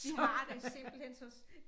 Vi har det simpelthen så også